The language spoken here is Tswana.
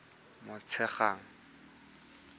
motshegang